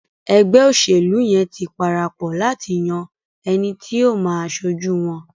ègbé òṣèlú yén tí parapò láti yàn ẹní tí o má aṣojú wón.